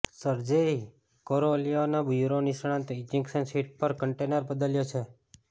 Sergei કોરોલ્યોવના bureau નિષ્ણાતો ejection seat પર કન્ટેનર બદલ્યો છે